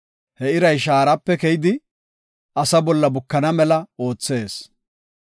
He iray shaarape keyidi, asa bolla bukana mela oothees.